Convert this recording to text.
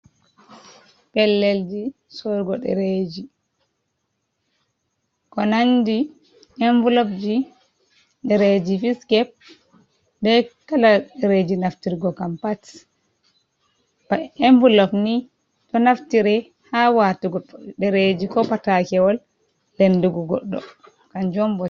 Pellelji sorgo ɗereji ko nandi envelopji & ɗereji fiskep be kalaji & ɗereji naftirgo kam pat ba envelop ni ɗo naftire ha watugo ɗereji, ko patakewol, lendugo goɗɗo.